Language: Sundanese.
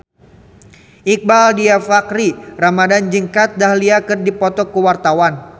Iqbaal Dhiafakhri Ramadhan jeung Kat Dahlia keur dipoto ku wartawan